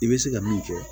I bɛ se ka min kɛ